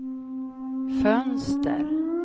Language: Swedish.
fönster